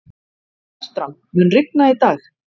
Fertram, mun rigna í dag?